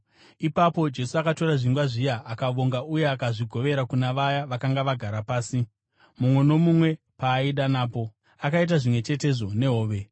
Ipapo Jesu akatora zvingwa zviya, akavonga, uye akazvigovera kuna vaya vakanga vagara pasi mumwe nomumwe paaida napo. Akaita zvimwe chetezvo nehove.